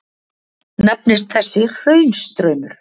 Nefnist þessi hraunstraumur